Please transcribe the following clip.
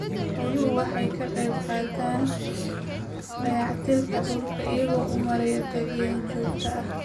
Xooluhu waxay ka qaybqaataan dayactirka dhulka iyagoo u maraya daaqeen joogto ah.